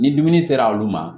Ni dumuni sera olu ma